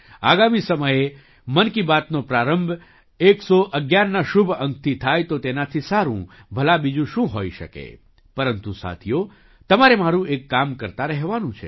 આગામી સમયે મન કી બાતનો પ્રારંભ 111ના શુભ અંકથી થાય તો તેનાથી સારું ભલા બીજું શું હોઈ શકે પરંતુ સાથીઓ તમારે મારું એક કામ કરતા રહેવાનું છે